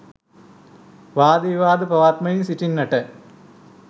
වාද විවාද පවත්වමින් සිටින්නට